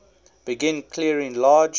begin clearing large